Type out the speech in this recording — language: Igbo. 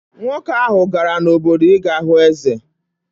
Nwoke ahụ gara n’obodo ị ga hụ eze.